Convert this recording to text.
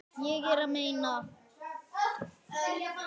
Ég er að meina.